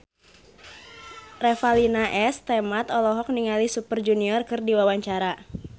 Revalina S. Temat olohok ningali Super Junior keur diwawancara